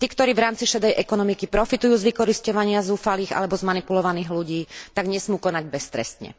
Tí, ktorí v rámci šedej ekonomiky profitujú z vykorisťovania zúfalých alebo zmanipulovaných ľudí, tak nesmú konať beztrestne.